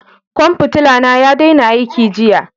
Kwan fitila na ya daina aiki jiya.